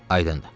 Aydındır.